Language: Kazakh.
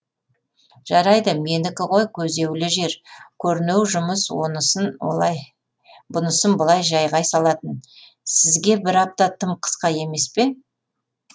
жарайды менікі ғой көзеулі жер көрнеу жұмыс онысын олай бұнысын былай жәйғай салатын сізге бір апта тым қысқа емес пе